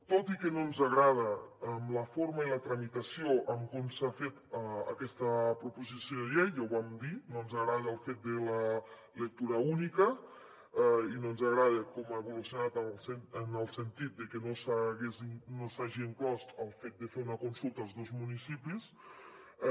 tot i que no ens agraden la forma i la tramitació com s’ha fet aquesta proposició de llei ja ho vam dir no ens agrada el fet de la lectura única i no ens agrada com ha evolucionat en el sentit de que no s’hi hagi inclòs el fet de fer una consulta als dos municipis